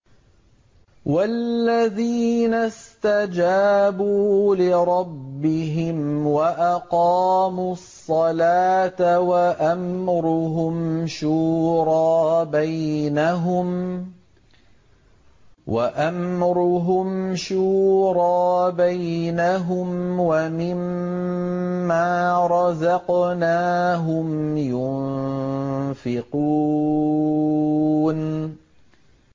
وَالَّذِينَ اسْتَجَابُوا لِرَبِّهِمْ وَأَقَامُوا الصَّلَاةَ وَأَمْرُهُمْ شُورَىٰ بَيْنَهُمْ وَمِمَّا رَزَقْنَاهُمْ يُنفِقُونَ